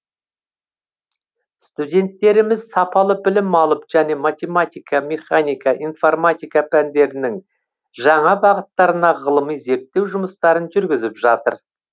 студенттеріміз сапалы білім алып және математика механика информатика пәндерінің жаңа бағыттарына ғылыми зерттеу жұмыстарын жүргізіп жатыр